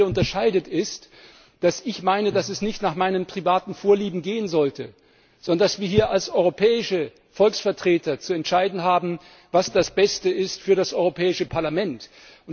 Was uns beide unterscheidet, ist, dass ich meine, dass es nicht nach meinen privaten Vorlieben gehen sollte, sondern dass wir hier als europäische Volksvertreter zu entscheiden haben, was das Beste für das Europäische Parlament ist.